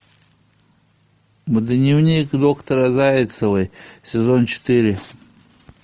дневник доктора зайцевой сезон четыре